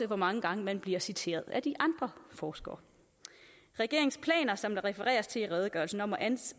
hvor mange gange man bliver citeret af de andre forskere regeringens planer som der refereres til i redegørelsen om at